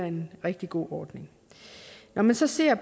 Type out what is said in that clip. en rigtig god ordning når man så ser